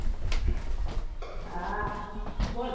હા બોલ